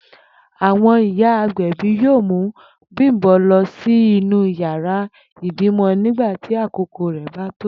Àwo̩n ìyá agbè̩bí yóò mú Bím̀bó̩ lo̩ sí inú yàrá ìbímo̩ nígbà tí àkókò rè̩ bá tó